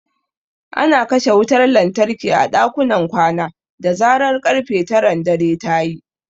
Ana kashe wutar lantarki a dakunan kwana da zarar ƙarfe taran dare ta yi.